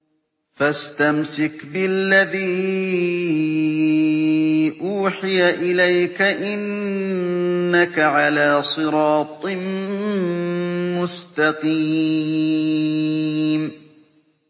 فَاسْتَمْسِكْ بِالَّذِي أُوحِيَ إِلَيْكَ ۖ إِنَّكَ عَلَىٰ صِرَاطٍ مُّسْتَقِيمٍ